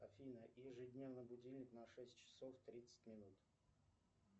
афина ежедневно будильник на шесть часов тридцать минут